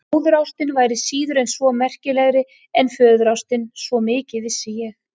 Móðurástin væri síður en svo merkilegri en föðurástin, svo mikið vissi ég.